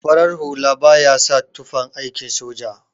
Farar hula baya sa tufan aikin soja.